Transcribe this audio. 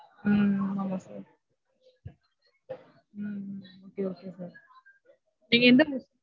ஹம் hmm okay okay sir. நீங்க எந்த